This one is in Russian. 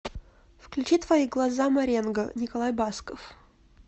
включи твои глаза маренго николай басков